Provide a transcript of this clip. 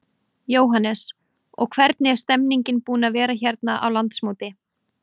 Jóhannes: Og hvernig er stemmningin búin að vera hérna á landsmóti?